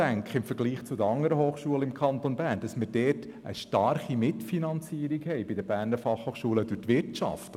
Im Vergleich zu anderen Hochschulen im Kanton Bern haben wir bei der BFH eine grosse Mitfinanzierung durch die Wirtschaft.